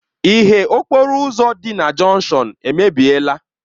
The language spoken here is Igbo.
Ìhè okporo ụzọ dị na jọnshọn a emebiela.